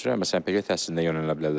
Məsələn, peşə təhsilinə yönəldilə bilərlər.